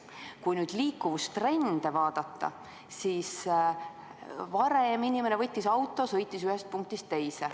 Kui nüüd liikuvustrende vaadata, siis varem inimene võttis auto, sõitis ühest punktist teise.